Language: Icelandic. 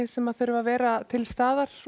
sem þurfa að vera til staðar